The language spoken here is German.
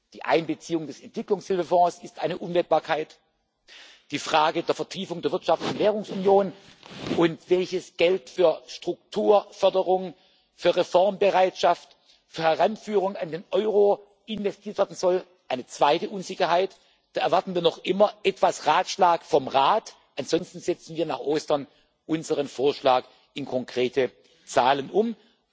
haben. Die Einbeziehung des Entwicklungshilfefonds ist eine Unwägbarkeit, die Frage der Vertiefung der Wirtschafts und Währungsunion und welches Geld für die Strukturförderung, für die Reformbereitschaft und für die Heranführung an den Euro investiert werden soll. Eine zweite Unsicherheit Da erwarten wir noch immer etwas Ratschlag vom Rat, ansonsten setzen wir nach Ostern unseren Vorschlag in konkrete Zahlen